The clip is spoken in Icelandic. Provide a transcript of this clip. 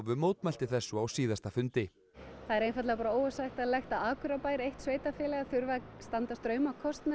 mótmælti þessu á síðasta fundi það er einfaldlega bara óásættanlegt að Akureyrarbær eitt sveitarfélaga þurfi að standa straum af